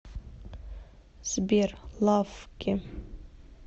сбер лаффки